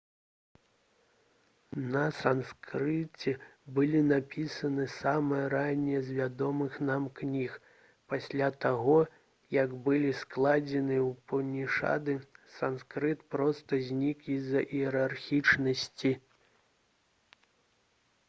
на санскрыце была напісана самая ранняя з вядомых нам кніг пасля таго як былі складзены упанішады санскрыт проста знік з-за іерархічнасці